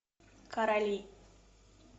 короли